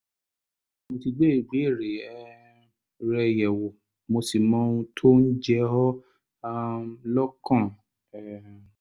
mo ti gbé ìbéèrè um rẹ yẹ̀wò mo sì mọ ohun tó ń jẹ ọ́ um lọ́kàn um